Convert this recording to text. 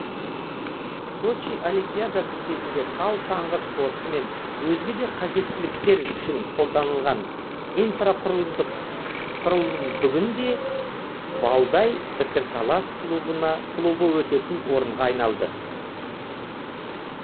сочи олимпиадасы кезінде тау шаңғы спорты мен өзге де қажеттіліктер үшін қолданылған құрылым бүгінде валдай пікірталас клубы өтетін орынға айналды